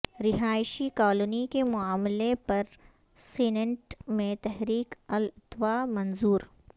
رہائشی کالونی کے معاملے پر سینیٹ میں تحریک التوا منظور